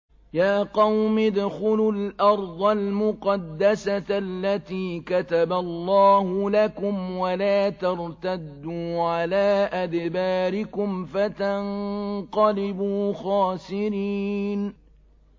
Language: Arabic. يَا قَوْمِ ادْخُلُوا الْأَرْضَ الْمُقَدَّسَةَ الَّتِي كَتَبَ اللَّهُ لَكُمْ وَلَا تَرْتَدُّوا عَلَىٰ أَدْبَارِكُمْ فَتَنقَلِبُوا خَاسِرِينَ